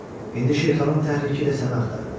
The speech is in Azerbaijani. İndi Şirxanın təhriki ilə səni axtarırlar.